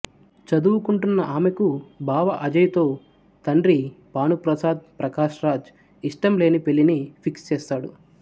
చదువుకుంటున్న ఆమెకు బావ అజయ్ తో తండ్రి భానుప్రసాద్ ప్రకాష్ రాజ్ ఇష్టంలేని పెళ్ళిని ఫిక్స్ చేస్తాడు